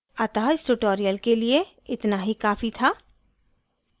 अतः इस tutorial के लिए इतना ही काफी था